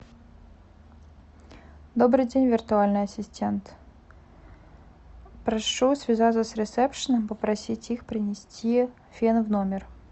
добрый день виртуальный ассистент прошу связаться с ресепшеном попросить их принести фен в номер